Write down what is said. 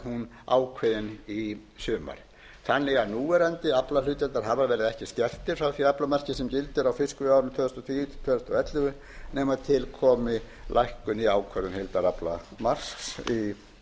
verður hún ákveðin í sumar þannig að núverandi aflahlutdeildarhafar verði ekki skertir frá því aflamarki sem gildir á fiskveiðiárinu tvö þúsund og tíu til tvö þúsund og ellefu nema til komi lækkun í ákvörðun heildaraflamarks og